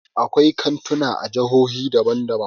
Akwai kantuna a jihohi daban daban.